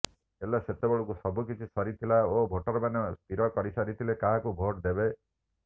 ହେଲେ ସେତେବେଳକୁ ସବୁ କିଛି ସରିଥିଲା ଓ ଭୋଟରମାନେ ସ୍ଥିର କରି ସାରିଥିଲେ କାହାକୁ ଭୋଟ ଦେବେ